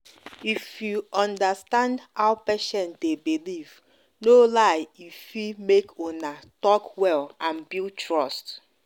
if you understand how patient dey believe no lie e fit make una talk well and build trust.